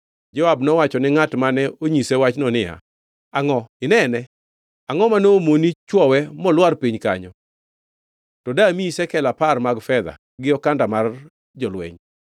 Joab nowacho ni ngʼat mane onyise wachno niya, “Angʼo! Inene? Angʼo ma nomoni chwowe molwar piny kanyo? To damiyi shekel apar mag fedha gi okanda mar jolweny.”